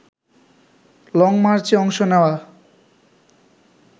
লংমার্চে অংশ নেওয়া